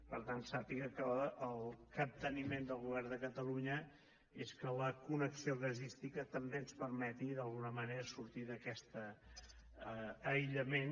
per tant sàpiga que el capteniment del govern de catalunya és que la connexió gasística també ens permeti d’alguna manera sortir d’aquest aïllament